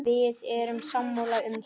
Við erum sammála um það.